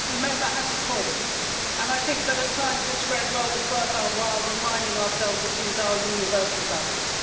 I think the Member has a point, and I think that at times it's very well worth our while reminding ourselves that these are universal values.